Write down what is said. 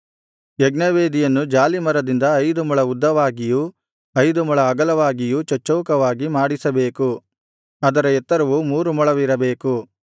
ಯಜ್ಞವೇದಿಯನ್ನು ಜಾಲೀಮರದಿಂದ ಐದು ಮೊಳ ಉದ್ದವಾಗಿಯೂ ಐದು ಮೊಳ ಅಗಲವಾಗಿಯೂ ಚಚ್ಚೌಕವಾಗಿ ಮಾಡಿಸಬೇಕು ಅದರ ಎತ್ತರವು ಮೂರು ಮೊಳವಿರಬೇಕು